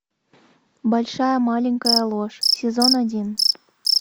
большая маленькая ложь сезон один